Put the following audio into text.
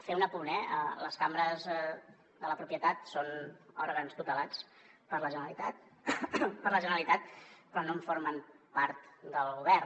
fer un apunt eh les cambres de la propietat són òrgans tutelats per la generalitat però no en formen part del govern